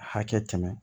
Hakɛ tɛmɛ